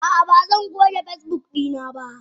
Ah ah bazan goge Facebook dina ba.